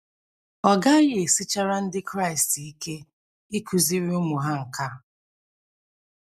Ọ gaghị esichara Ndị Kraịst ike ịkụziri ụmụ ha nke a.